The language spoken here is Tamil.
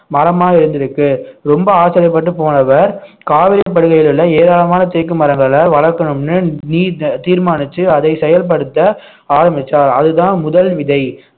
மரமா இருந்திருக்கு ரொம்ப ஆச்சரியப்பட்டு போனவர் காவிரிப்படுகையில் உள்ள ஏராளமான தேக்கு மரங்களை வளர்க்கணும்னு தீர்மானிச்சு அதை செயல்படுத்த ஆரம்பிச்சார் அதுதான் முதல் விதை